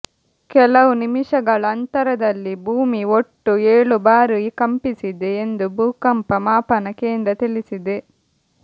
ಕೆಲವು ನಿಮಿಷಗಳ ಅಂತರದಲ್ಲಿ ಭೂಮಿ ಒಟ್ಟು ಏಳು ಬಾರಿ ಕಂಪಿಸಿದೆ ಎಂದು ಭೂಕಂಪ ಮಾಪನ ಕೇಂದ್ರ ತಿಳಿಸಿದೆ